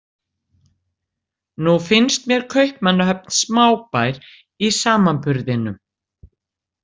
Nú finnst mér Kaupmannahöfn smábær í samanburðinum.